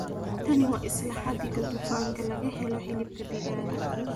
Tani waa isla xadiga dufanka laga helo hilibka digaaga